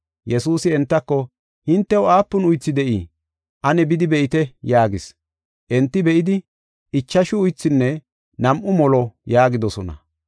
Yesuusi entako, “Hintew aapun uythi de7ii? Ane bidi be7ite” yaagis. Enti be7idi, “Ichashu uythunne nam7u molo” yaagidosona.